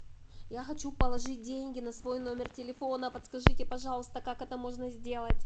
я хочу положить деньги на свой номер телефона подскажите пожалуйста как это можно сделать